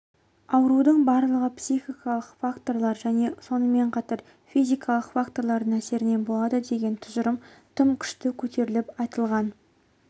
аурудың барлығы психикалық факторлар және сонымен қатар физикалық факторлардың әсерінен болады деген тұжырым тым күшті көтеріліп айтылған